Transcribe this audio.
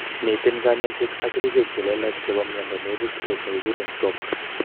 Miten konyoiset ak kerichek che lelach chebo myondo neibu stress nekikuren stroke